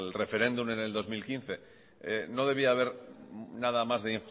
referéndum en el dos mil quince no debía de haber nada más de